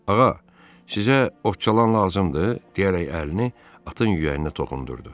Ağa, sizə otçalan lazımdır deyərək əlini atın yüyəninə toxundurdu.